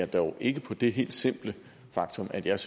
dog ikke på det helt simple faktum at jeg